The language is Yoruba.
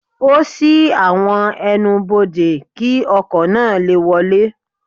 Ó ṣí àwọn ẹ́nubọdè, kí ọkọ̀ náà lè wọlé.